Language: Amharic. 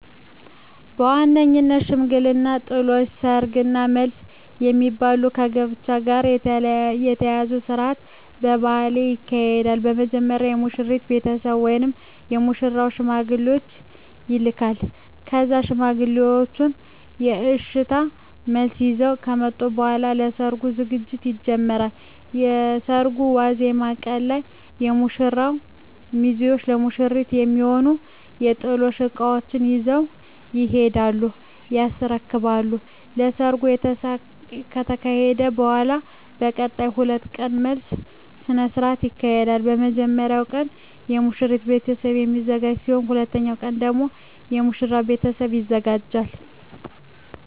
በዋነኝነት ሽምግልና፣ ጥሎሽ፣ ሰርግ እና መልስ የሚባሉ ከጋብቻ ጋር የተያያዙ ስርአቶች በባህሌ ይካሄዳሉ። በመጀመሪያ የሙሽራው ቤተሰብ ወደ ሙሽሪት ሽማግሌዎችን ይልካል ከዛም ሽማግሌዎቹ የእሽታ መልስ ይዘው ከመጡ በኃላ ለሰርጉ ዝግጅት ይጀመራል። የሰርጉ ዋዜማ ቀን ላይ የሙሽራው ሚዜዎች ለሙሽሪት የሚሆኑ የጥሎሽ እቃዎችን ይዘው ይሄዱና ያስረክባሉ። ከሰርጉ ከተካሄደ በኃላም ለቀጣይ 2 ቀናት መልስ ስነ ስርዓት ይካሄዳል። የመጀመሪያው ቀን በሙሽሪት ቤተሰብ የሚዘጋጅ ሲሆን ሁለተኛው ቀን ደግሞ የሙሽራው ቤተሰብ ያዘጋጃል።